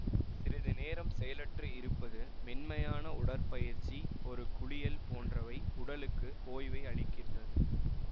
சிறிது நேரம் செயலற்று இருப்பது மென்மையான உடற்பயிற்சி ஒரு குளியல் போன்றவை உடலுக்கு ஓய்வை அளிக்கின்றது